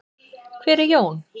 Hver er Jón?